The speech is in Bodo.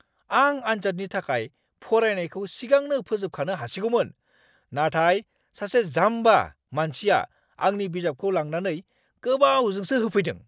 आं आन्जादनि थाखाय फरायनायखौ सिगांनो फोजोबखानो हासिगौमोन, नाथाय सासे जाम्बा मानसिया आंनि बिजाबखौ लांनानै गोबावजोंसो होफैदों।